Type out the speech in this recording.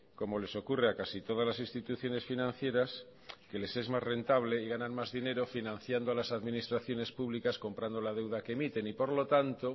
como les ocurre a casi todas las instituciones financieras que les es más rentable y ganan más dinero financiando a las administraciones públicas comprando la deuda que emiten y por lo tanto